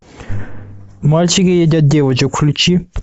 мальчики едят девочек включи